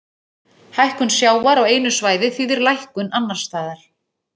Hækkun sjávar á einu svæði þýðir lækkun annars staðar.